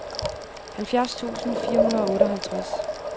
halvfjerds tusind fire hundrede og otteoghalvtreds